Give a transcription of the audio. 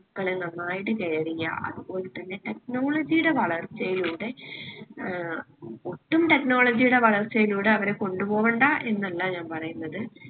മക്കളെ നന്നായിട്ട് care എയ്യാ അത് പോലെത്തന്നെ technology ടെ വളർച്ചയിലൂടെ ഏർ ഒട്ടും technology ടെ വളർച്ചയിലൂടെ അവരെ കൊണ്ട് പോവണ്ടാ എന്നല്ല ഞാൻ പറയ്ന്നത്